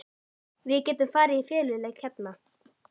Við getum farið í feluleik hérna!